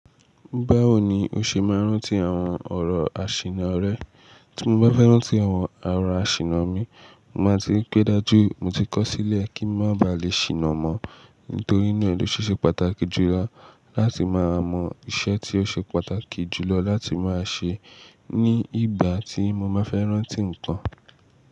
Báwo ni o ṣe máa ń rántí àwọn ọ̀rọ̀ àṣìnà rẹ? Tí mo bá fẹ́ rántí àwọn ọ̀rọ̀ àṣìnà mi, mo máa ti rí pé dájú mo ti kọ̀ sílẹ̀ kí ń má ba lè ṣìnà mọ́. Nítorí inú náà ló ṣíṣe pàtàkì jùlọ láti máa mọ iṣẹ́ tí ó ṣe pàtàkì jùlọ láti máa ṣe ní ìgbà tí mo máa fẹ́ rántí ǹkan.